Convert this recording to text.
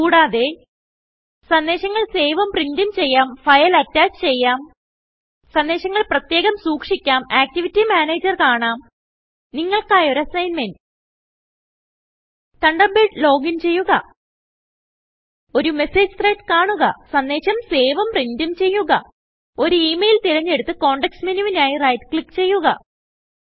കൂടാതെ160 സന്ദേശങ്ങൾ സേവും പ്രിന്റും ചെയ്യാം ഫയൽ അറ്റാച്ച് ചെയ്യാം സന്ദേശങ്ങൾ പ്രത്യേകം സൂക്ഷിക്കാം ആക്ടിവിറ്റി മാനേജർ കാണാം നിങ്ങൾക്കായി ഒരു അസ്സിഗ്ന്മെന്റ് തണ്ടർബേഡ് ലോഗിൻ ചെയ്യുക ഒരു മെസ്സേജ് ത്രെഡ് കാണുക സന്ദേശം സേവും പ്രിന്റും ചെയ്യുക ഒരു ഇമെയിൽ തിരഞ്ഞെടുത്ത് കോണ്ടെക്സ്റ്റ് menuവിനായി റൈറ്റ് ക്ലിക്ക് ചെയ്യുക